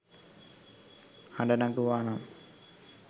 හඩ නැගුවා නම්